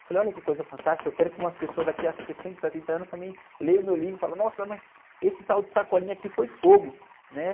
Eu falei, olha que coisa fantástica, eu quero que uma pessoa daqui a sessenta, setenta anos também leia o meu livro e fale, nossa, mas esse tal de aqui foi fogo, né?